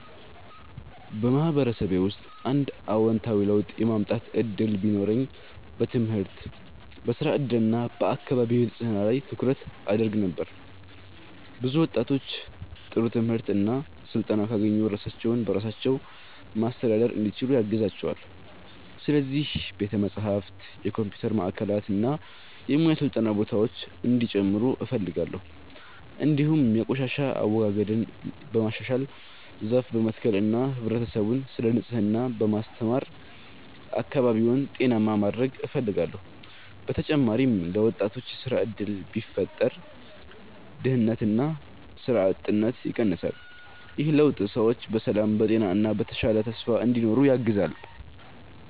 በማህበረሰቤ ውስጥ አንድ አዎንታዊ ለውጥ የማምጣት እድል ቢኖረኝ በትምህርት፣ በሥራ እድል እና በአካባቢ ንጽህና ላይ ትኩረት አደርግ ነበር። ብዙ ወጣቶች ጥሩ ትምህርት እና ስልጠና ካገኙ ራሳቸውን በራሳቸው ማስተዳደር እንዲችሉ ያግዛቸዋል። ስለዚህ ቤተ መጻሕፍት፣ የኮምፒውተር ማዕከላት እና የሙያ ስልጠና ቦታዎች እንዲጨምሩ እፈልጋለሁ። እንዲሁም የቆሻሻ አወጋገድን በማሻሻል፣ ዛፍ በመትከል እና ህብረተሰቡን ስለ ንጽህና በማስተማር አካባቢውን ጤናማ ማድረግ እፈልጋለሁ። በተጨማሪም ለወጣቶች የሥራ እድል ቢፈጠር ድህነትና ሥራ አጥነት ይቀንሳል። ይህ ለውጥ ሰዎች በሰላም፣ በጤና እና በተሻለ ተስፋ እንዲኖሩ ያግዛል።